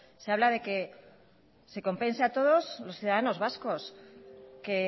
se habla de que se compense a todos los ciudadanos vascos que